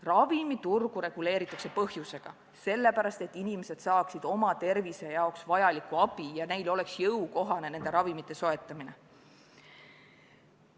Ravimiturgu reguleeritakse põhjusega: sellepärast, et inimesed saaksid oma tervise jaoks vajalikku abi ja et neile oleks ravimite soetamine jõukohane.